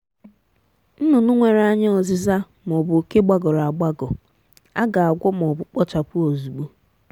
nnụnụ nwere anya ọzịza ma ọ bụ oke gbagọrọ agbagọ a ga-agwọ ma ọ bụ kpochapụ ozugbo.